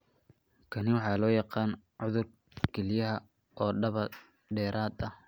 Kani waxa loo yaqaan cudur kalyaha oo daba dheeraada.